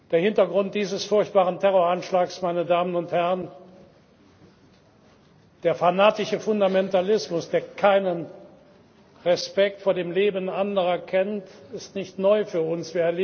Der Hintergrund dieses furchtbaren Terroranschlags, der fanatische Fundamentalismus, der keinen Respekt vor dem Leben anderer kennt, ist nicht neu für uns.